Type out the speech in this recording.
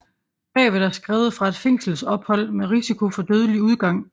Brevet er skrevet fra et fængselsophold med risiko for dødelig udgang